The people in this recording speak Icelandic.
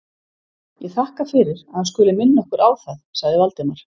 Ég þakka fyrir, að hann skuli minna okkar á það sagði Valdimar.